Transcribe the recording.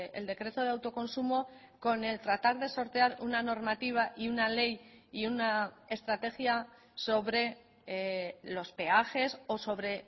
el decreto de autoconsumo con el tratar de sortear una normativa y una ley y una estrategia sobre los peajes o sobre